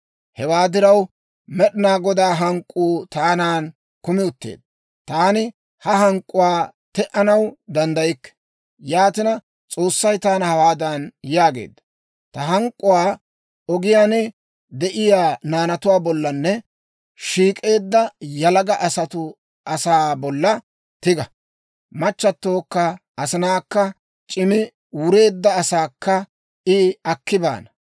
Hewaa diraw, Med'inaa Godaa hank'k'uu taanan kumi utteedda. Taani ha hank'k'uwaa te"anaw danddaykke. Yaatina, S'oossay taana hawaadan yaagee; «Ta hank'k'uwaa ogiyaan de'iyaa naanatuwaa bollanne shiik'eedda yalaga asaa bolla tiga. Machchatokka asinaakka, c'immi wureedda asaakka I akki baana.